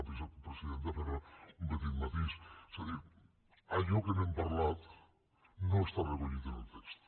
perdoni senyora presidenta però un petit matís és a dir allò de què hem parlat no està recollit en el text